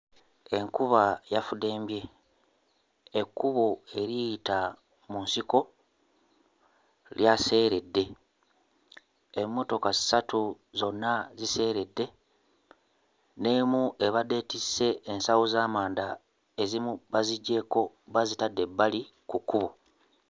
Enkuba yafudembye. Ekkubo eriyita mu nsiko lyaseeredde. Emmotoka ssatu zonna ziseeredde, n'emu ebadde etisse ensawo z'amanda ezimu baziggyeeko bazitadde ebbali ku kkubo.